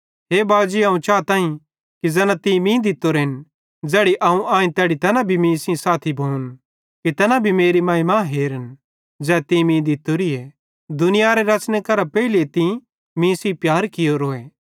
हे बाजी अवं चाताईं कि ज़ैना तीं मीं दित्तोरेन ज़ैड़ी अवं आईं तैड़ी तैना भी मीं सेइं साथी भोन कि तैना भी मेरी महिमा हेरन ज़ै तीं मीं दित्तोरीए दुनियारे रच़ने करां भी पेइले तीं मीं सेइं प्यार कियोरोए